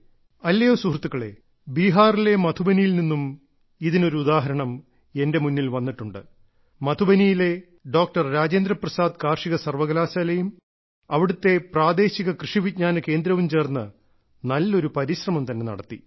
അല്ലയോ സുഹൃത്തുക്കളെ ബീഹാറിലെ മധുബനിയിൽ നിന്നും ഇതിന് ഒരു ഉദാഹരണം എന്റെ മുന്നിൽ വന്നിട്ടുണ്ട് മധുബനിയിലെ ഡോക്ടർ രാജേന്ദ്ര പ്രസാദ് കാർഷിക സർവകലാശാലയും അവിടുത്തെ പ്രാദേശിക കൃഷിവിജ്ഞാന കേന്ദ്രവും ചേർന്ന നല്ലൊരു പരിശ്രമം തന്നെ നടത്തി